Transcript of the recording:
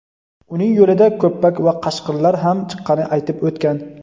uning yo‘lida "ko‘ppak" va "qashqir"lar ham chiqqanini aytib o‘tgan.